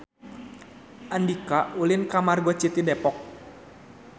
Andika ulin ka Margo City Depok